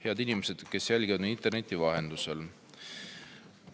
Head inimesed, kes jälgivad meid interneti vahendusel!